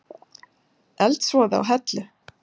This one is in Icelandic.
Eldsvoði á Hellu